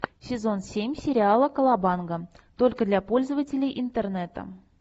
сезон семь сериала колобанга только для пользователей интернета